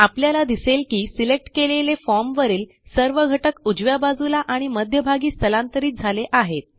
आपल्याला दिसेल की सिलेक्ट केलेले फॉर्म वरील सर्व घटक उजव्या बाजूला आणि मध्यभागी स्थलांतरित झाले आहेत